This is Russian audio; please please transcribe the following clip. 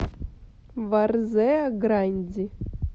варзеа гранди